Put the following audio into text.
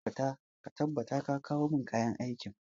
Ka tabbata ka kawo kayan aikin!